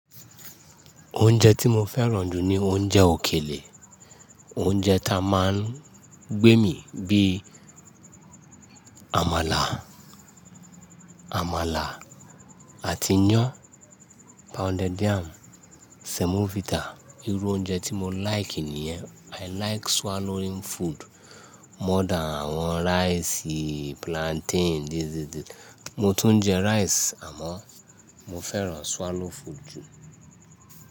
Oúnjẹ tí mo fẹ́ràn jù ni oúnjẹ òkèlè. Oúnjẹ ta máa ń gbé mi bíi àmàlà, àmàlà àti iyán, pounded yam, semovita. Irú oúnjẹ tí mo like nìyẹn. I like swallowing food more than àwọn rice, plantain, dídi dídi. Mo tún jẹ rice àmọ́ mo fẹ́ràn swallow food jù.